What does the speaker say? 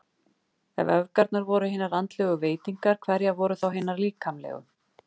Ef öfgarnar voru hinar andlegu veitingar, hverjar voru þá hinar líkamlegu?